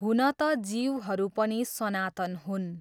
हुन त जीवहरू पनि सनातन हुन्।